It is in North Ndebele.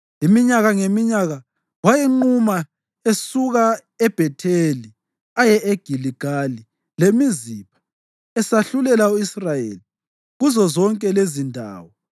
Iminyaka ngeminyaka wayenquma esuka eBhetheli aye eGiligali leMizipha, esahlulela u-Israyeli kuzozonke lezindawo.